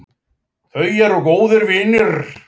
Þau eru góðir vinir